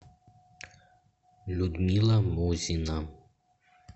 людмила мозина